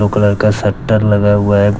दो कलर का शटर लगा हुआ है।